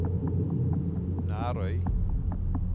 Nærøy